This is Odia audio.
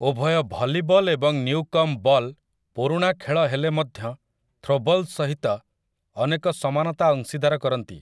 ଉଭୟ ଭଲିବଲ୍ ଏବଂ ନ୍ୟୁକମ୍ବ ବଲ୍ ପୁରୁଣା ଖେଳ ହେଲେମଧ୍ୟ ଥ୍ରୋବଲ୍ ସହିତ ଅନେକ ସମାନତା ଅଂଶୀଦାର କରନ୍ତି ।